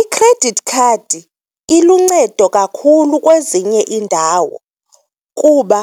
I-credit card iluncedo kakhulu kwezinye iindawo kuba